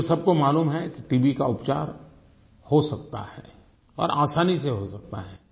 क्योंकि सबको मालूम है कि टीबी का उपचार हो सकता है और असानी से हो सकता है